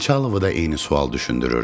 Xançalovu da eyni sual düşündürürdü.